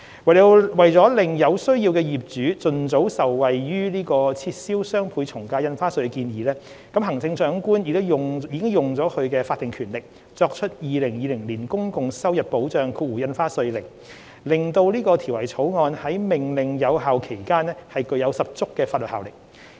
為了使有需要的業主盡早受惠於撤銷雙倍從價印花稅的建議，行政長官已行使法定權力作出《2020年公共收入保障令》，使《條例草案》於《命令》有效期間具有十足法律效力。